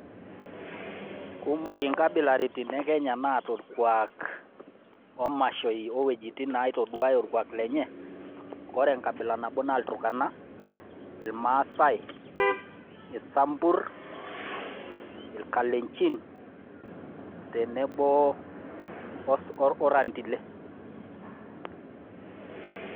Kumok inkabilaitin e Kenya naata orkuak omashooi owuejitin naitaduaaya orkuak lenye, ore enkabila nabo naa ilturukana, irmaasai, isamburr, irkalenjin tenebo orrendile.